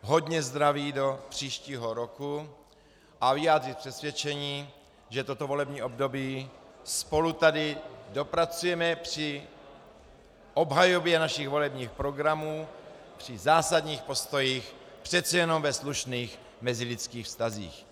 hodně zdraví do příštího roku a vyjádřit přesvědčení, že toto volební období spolu tady dopracujeme při obhajobě našich volebních programů, při zásadních postojích přece jenom ve slušných mezilidských vztazích.